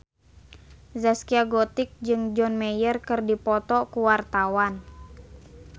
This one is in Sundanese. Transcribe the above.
Zaskia Gotik jeung John Mayer keur dipoto ku wartawan